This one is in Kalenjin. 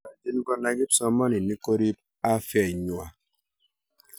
nyolchin kunai kipsomsoninik korip afyait ngwany